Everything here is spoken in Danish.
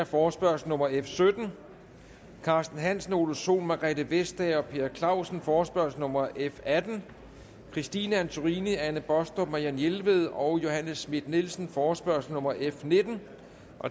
forespørgsel nummer f sytten carsten hansen ole sohn margrethe vestager og per clausen forespørgsel nummer f atten christine antorini anne baastrup marianne jelved og johanne schmidt nielsen forespørgsel nummer f nitten